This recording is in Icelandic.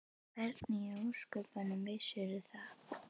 Og hvernig í ósköpunum vissirðu það?